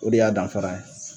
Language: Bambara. O de y'a danfara ye.